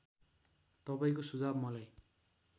तपाईँको सुझाव मलाई